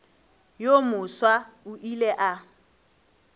yo mofsa o ile a